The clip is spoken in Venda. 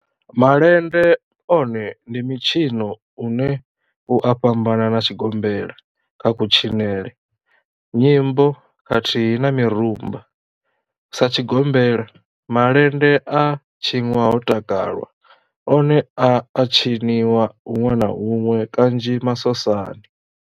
Malende one ndi mitshino une u a fhambana na tshigombela kha kutshinele, nyimbo khathihi na mirumba. Sa tshigombela, malende a tshinwa ho takalwa, one a a tshiniwa hunwe na hunwe kanzhi masosani.